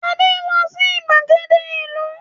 Adé ń lọ sí ìgbàgede ìlú.